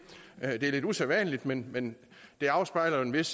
er lidt usædvanligt men men det afspejler jo en vis